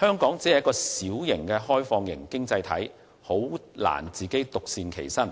香港作為小型開放式經濟體實在難以獨善其身。